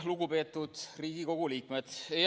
Lugupeetud Riigikogu liikmed!